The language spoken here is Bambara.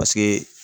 Paseke